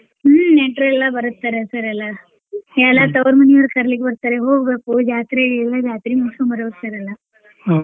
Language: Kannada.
ಹ್ಮ್ ನೆಂಟ್ರೆಲ್ಲ ಬರ್ತಾರೆ sir ಎಲ್ಲಾ ಎಲ್ಲಾ ತೌವ್ರ ಮನೀಯರ್ ಕರೀಲಿಕ್ಕ್ ಬರ್ತಾರೆ ಹೋಗ್ಬೇಕು ಜಾತ್ರೆಗೆ ಎಲ್ಲ ಜಾತ್ರಿ ಮುಗ್ಸ್ಕೊಂಡ್ ಬರ್ಬೇಕ sir ಎಲ್ಲಾ.